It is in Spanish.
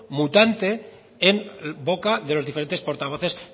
mutante en boca de los diferentes portavoces